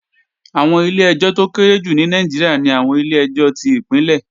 Àwọn ilé-ẹjọ́ tó kéré jù ní Nàìjíríà ni àwọn ilé-ẹjọ́ tí Ìpínlẹ̀